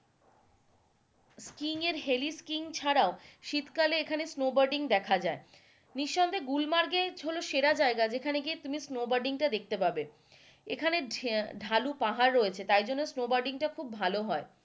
skiing এর heliskiing ছাড়াও, শীতকালে এখানে স্নো বোর্ডিং দেখা যায় নিঃসন্দেহে গুলমার্গ হলো এখানে সেরা জায়গা যেখানে তুমি স্নো বোর্ডিং টা দেখতে পাবে এখানে ঢে~ঢালু পাহাড় রয়েছে স্নো বোর্ডিং টা এইজন্য খুব ভালো হয়,